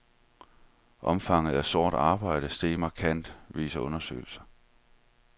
Omfanget af sort arbejde steget markant, viser undersøgelse.